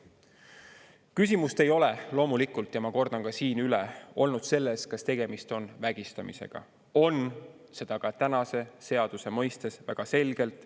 Ma kordan siin üle, et küsimus ei ole loomulikult olnud selles, kas tegemist on vägistamisega – on, seda ka tänase seaduse mõistes väga selgelt.